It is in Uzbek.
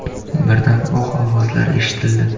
Birdan o‘q ovozlari eshitildi.